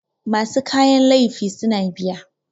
masu kayan laifi suna biya